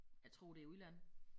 Jeg tror det i udlandet